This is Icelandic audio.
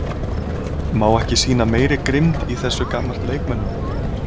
Má ekki sýna meiri grimmd í þessu gagnvart leikmönnum?